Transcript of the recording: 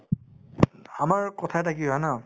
আমাৰ কথা এটা কথা কি হয় ন